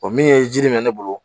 O min ye ji min bɛ ne bolo